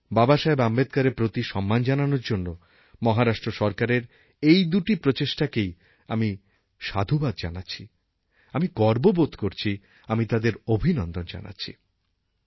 বাবাসাহেব আম্বেদকরের প্রতি সম্মান জানানোর জন্য মহারাষ্ট্র সরকারের এই দুটি প্রচেষ্টাকেই আমি সাধুবাদ জানাচ্ছি আমি গর্ব বোধ করছি আমি তাদের অভিনন্দন জানাচ্ছি